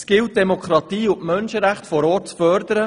Es gilt die Demokratie und die Menschenrechte vor Ort zu fördern.